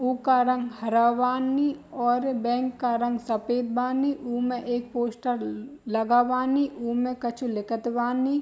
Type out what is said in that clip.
उका रंग हरा बानी और बैंक का रंग सफेद बानी उमें एक पोस्टर लगा बानी उमें कछु लिखत बानी।